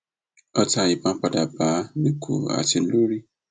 ọtá ìbọn padà bá a níkùn àti lórí